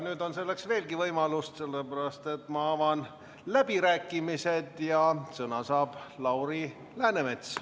Nüüd on selleks veelgi võimalust, sellepärast et ma avan läbirääkimised ja sõna saab Lauri Läänemets.